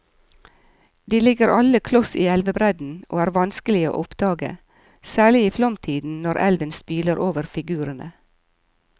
De ligger alle kloss i elvebredden og er vanskelige å oppdage, særlig i flomtiden når elven spyler over figurene.